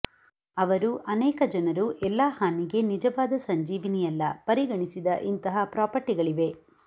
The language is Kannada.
ಅವರು ಅನೇಕ ಜನರು ಎಲ್ಲಾ ಹಾನಿಗೆ ನಿಜವಾದ ಸಂಜೀವಿನಿಯಲ್ಲ ಪರಿಗಣಿಸಿದ ಇಂತಹ ಪ್ರಾಪರ್ಟಿಗಳಿವೆ